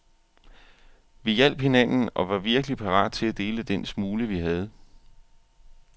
Vi hjalp hinanden og var virkelig parat til at dele den smule, vi havde.